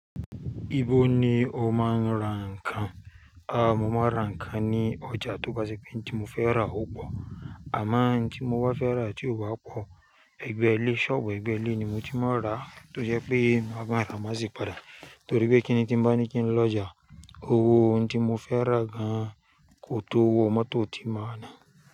Ibo ni o máa ń ra ǹkan? Ah, mo máa ń ra ǹkan ní ọjà tóbá ṣe pé ouǹ tí mo fẹ́ rà ó pọ̀, àmo ǹ tí mo bá fẹ́ rà tí ó bá pọ̀, ẹgbẹ́ẹlé, ṣọ́ọ̀bù ẹgbẹ́ẹlé ni mo ti máa ń rà tó jẹ́ pé mo máa rà máṣi padà torí pé kíni tí ń bá ní kí n lọ ọjà, owó ouǹ tí mo fẹ́ rà gan kò tó owó mọ́tò tí màá nà.